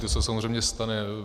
To se samozřejmě stane.